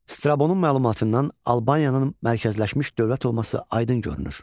Strabonun məlumatından Albaniyanın mərkəzləşmiş dövlət olması aydın görünür.